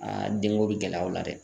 denko bi gɛlɛya o la dɛ.